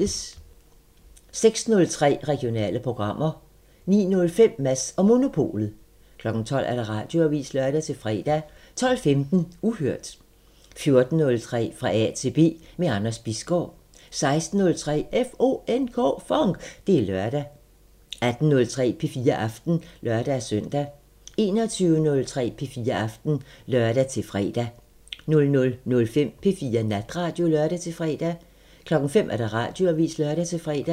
06:03: Regionale programmer 09:05: Mads & Monopolet 12:00: Radioavisen (lør-fre) 12:15: Uhørt 14:03: Fra A til B – med Anders Bisgaard 16:03: FONK! Det er lørdag 18:03: P4 Aften (lør-søn) 21:03: P4 Aften (lør-fre) 00:05: P4 Natradio (lør-fre) 05:00: Radioavisen (lør-fre)